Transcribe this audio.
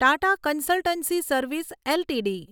Tata Consultancy Service LTD